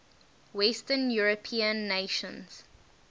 western european nations